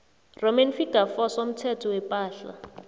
iv somthetho wepahla